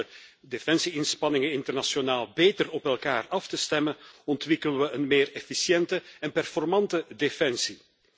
Door onze defensie inspanningen internationaal beter op elkaar af te stemmen ontwikkelen we een meer efficiënte en slagvaardige defensie.